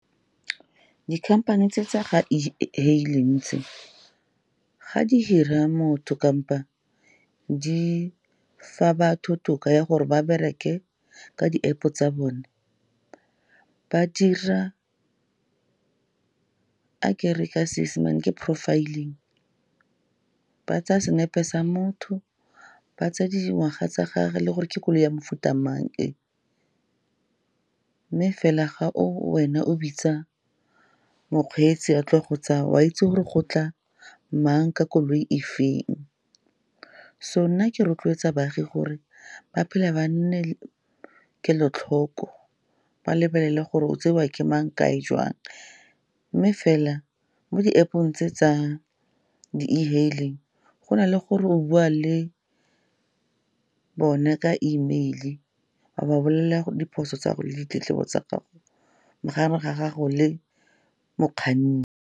Dikhamphane tse tsa ga e-hailing tse ga di hire-a motho kapa di fa batho toka ya gore ba bereke ka di-App tsa bone, a ke re ke a Seesemane ke profiling, ba tsaya senepe sa motho, ba tsaya le dingwaga tsa gagwe le gore ke koloi ya mofuta mang e. Mme fela ga o wena o bitsa mokgweetsi a tlo go tsaya, o a itse gore go tla mang ka koloi e feng. So nna ke rotloetsa baagi gore ba phela ba nne kelotlhoko, ba lebelele gore o tsewa ke mang, kae, jwang. Mme fela mo di-App-ong tse tsa di-e-hailing, go na le gore o bua le bone ka email, o a ba bolelela diphoso tsa gago le ditletlebo tsa gago mo gare ga gago le mokganni.